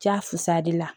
Ja fusali la